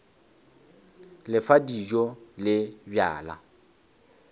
le fa dijo le bjala